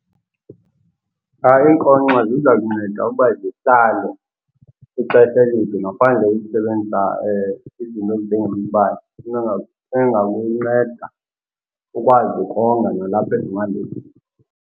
Iinkonkxa ziza kunceda ukuba zihlale ixesha elide ngaphandle kokusebenza izinto ezinjengombane, into engakunceda ukwazi ukonga nalapha ezimalini.